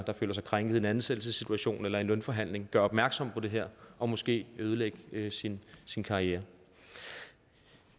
der føler sig krænket i en ansættelsessituation eller i en lønforhandling gøre opmærksom på det her og måske ødelægge sin sin karriere